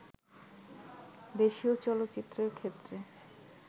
দেশীয় চলচ্চিত্রের ক্ষেত্রে